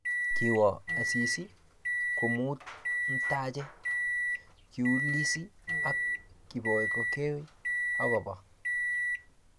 Kiwo Asisi komut mtaje, kiulizi ak Kipokeo akoba